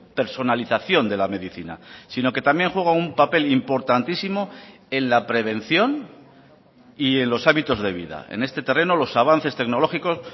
personalización de la medicina sino que también juega un papel importantísimo en la prevención y en los hábitos de vida en este terreno los avances tecnológicos